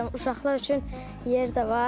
Uşaqlar üçün yer də var.